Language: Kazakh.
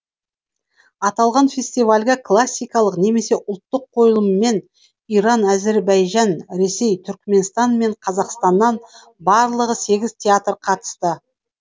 аталған фестивальге классикалық немесе ұлттық қойылымымен иран әзербайжан ресей түркменстан мен қазақстаннан барлығы сегіз театр қатысты